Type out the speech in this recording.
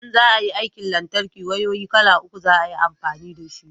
in za a yin aikin lantarki wayoyi kala uku za a yi amfani da shi